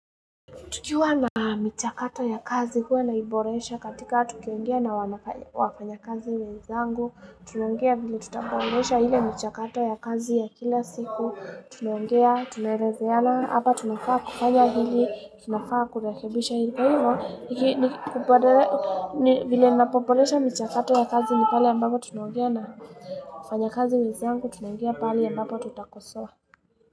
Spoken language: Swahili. Tukiwa na michakato ya kazi, huwa tunaboresha katika tukiongea na wafanyakazi wenzangu. Tunaongea vile tutaboresha ile michakato ya kazi ya kila siku. Tunaongea, tunaelezeana, hapa tunafaa kufanya nini, tunafaa kurekebisha hili, kwa hivyo vile ninavyoboresha michakato ya kazi ni pale ambapo tunaongea na wafanyakazi wenzangu. Tunaongea pale ambapo tunakosea.